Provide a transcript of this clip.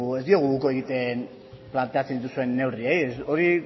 ez diogu uko egiten planteatzen dituzuen neurriei hori